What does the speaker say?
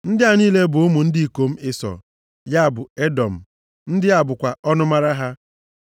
Ndị a niile bụ ụmụ ndị ikom Ịsọ (ya bụ, Edọm). Ndị a bụkwa ọnụmara ha.